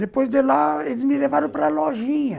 Depois de lá, eles me levaram para a lojinha.